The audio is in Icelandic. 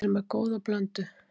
Við erum með góða blöndu.